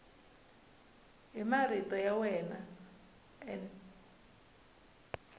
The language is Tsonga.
hi marito ya wena n